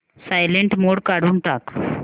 silent mode काढून टाक